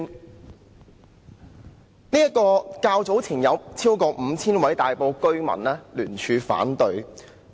這項改善工程較早前遭超過 5,000 位大埔居民聯署反對。